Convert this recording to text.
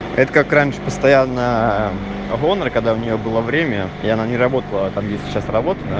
это как раньше постоянно оборона когда у нее было время и она не работала там где сейчас работает